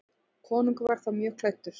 Konungur var þá mjög klæddur.